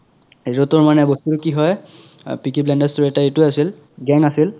ইহতৰ মানে বস্তুতো কি হয় পিকি ব্লাইণ্ডাৰ তোৰ এতা এইতো আছিল gang আছিল